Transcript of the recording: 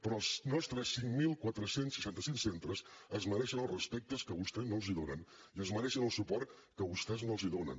però els nostres cinc mil quatre cents i seixanta cinc centres es mereixen els respectes que vostès no els donen i es mereixen el suport que vostès no els donen